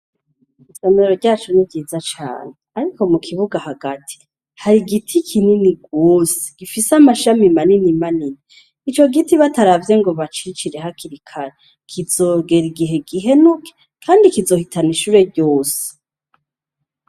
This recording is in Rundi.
Isomero ryacu ni ryiza cane. Ariko mu kibuga hagati, har'igiti kinini gose, gifise amashami manini manini. Ico giti bataravye ngo bacicire hakiri kare, kizogera igihe gihenuke ,kandi kizohitana ishure ryose.